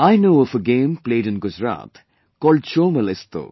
I known of a game played in Gujarat called Chomal Isto